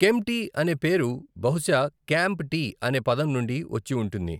కెంప్టీ అనే పేరు బహుశా 'క్యాంప్ టీ' అనే పదం నుండి వచ్చి ఉంటుంది.